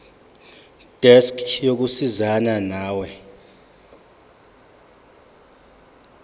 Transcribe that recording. desk yokusizana nawe